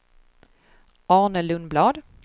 Anne Lundblad